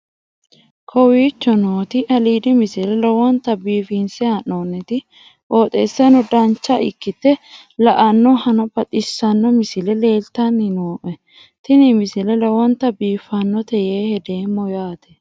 kowicho nooti aliidi misile lowonta biifinse haa'noonniti qooxeessano dancha ikkite la'annohano baxissanno misile leeltanni nooe ini misile lowonta biifffinnote yee hedeemmo yaate